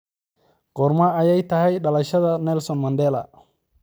Goorma ayay tahay dhalashadii Nelson Mandela?